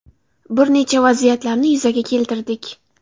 Bir nechta vaziyatlarni yuzaga keltirdik.